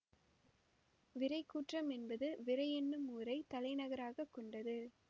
விறைக்கூற்றம் என்பது விறை என்னும் ஊரைத் தலைநகராக கொண்டது